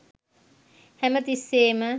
හැම තිස්සේම